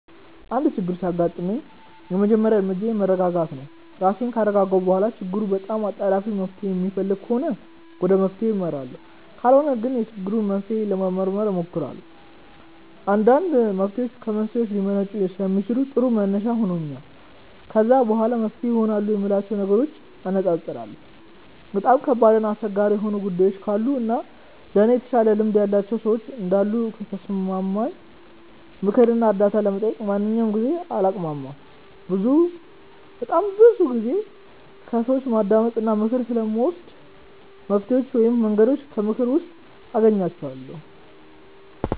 አንድ ችግር ሲያጋጥመኝ የመጀመሪያ እርምጃዬ መረጋጋት ነው። ራሴን ካረጋጋሁ በኋላ ችግሩ በጣም አጣዳፊ መፍትሔ የሚፈልግ ከሆነ ወደ መፍትሔው አመራለሁ ካልሆነ ግን የችግሩን መንስኤ ለመመርመር እሞክራለሁ። አንዳንድ መፍትሔዎች ከመንስኤው ሊመነጩ ስለሚችሉ ጥሩ መነሻ ይሆነኛል። ከዛ በኋላ መፍትሄ ይሆናሉ የምላቸውን ነገሮች አነፃፅራለሁ። በጣም ከባድ እና አስቸጋሪ የሆኑ ጉዳዮች ካሉ እና ከእኔ የተሻለ ልምድ ያላቸው ሰዎች እንዳሉ ከተሰማኝ ምክር እና እርዳታ ለመጠየቅ በማንኛውም ጊዜ አላቅማማም። በጣም ብዙ ጊዜ ከሰዎች ማዳመጥ እና ምክር ስለምወድ መፍትሔዎቹን ወይም መንገዶቹን ከምክክር ውስጥ አገኛቸዋለሁ።